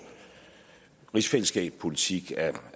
rigsfællesskabpolitik er